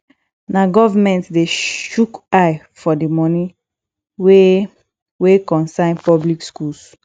na government de shook eye for the moni wey wey concern public schools